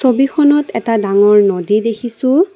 ছবিখনত এটা ডাঙৰ নদী দেখিছোঁ।